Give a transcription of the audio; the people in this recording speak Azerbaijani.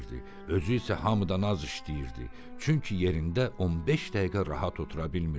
Özü isə hamıdan az işləyirdi, çünki yerində 15 dəqiqə rahat otura bilmirdi.